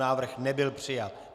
Návrh nebyl přijat.